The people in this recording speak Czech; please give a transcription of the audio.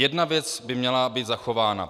Jedna věc by měla být zachována.